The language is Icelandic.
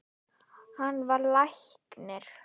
Hann varð læknir.